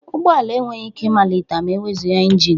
Ụgbọ ala enweghị ike ịmalite ma ewezuga ịnjin